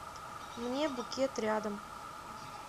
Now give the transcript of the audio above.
мне букет рядом